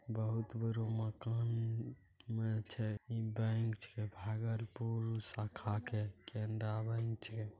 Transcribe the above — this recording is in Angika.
बहुत बड़ा मकान में छे बैंक छे भागलपुर शाखा के केनरा बैंक छे।